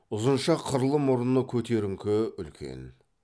ұзынша қырлы мұрны көтеріңкі үлкен